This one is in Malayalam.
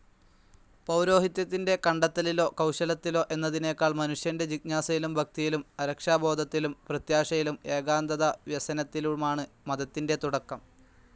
പൌരോഹിത്യത്തിൻ്റെ കണ്ടെത്തലിലോ കൌശലത്തിലോ എന്നതിനേക്കാൾ മനുഷ്യൻ്റെ ജിജ്ഞാസയിലും, ഭക്തിയിലും, അരക്ഷാബോധത്തിലും, പ്രത്യാശയിലും, ഏകാന്തതാവ്യസനത്തിലുമാണ് മതത്തിൻ്റെ തുടക്കം.